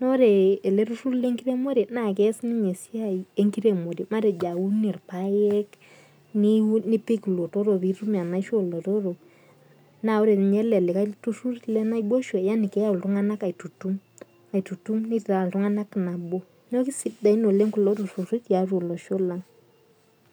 Nore ele turrurr lenkiremore, naa kees ninye esiai enkiremore. Matejo aun irpaek, nipik ilotorok pitum enaisho olotorok, na ore nye ele likae turrurr lenaiboisho, yani keyau iltung'anak aitutum. Aitutum neitaa iltung'anak nabo. Neeku kisidain oleng kulo turrurri tiatua olosho lang.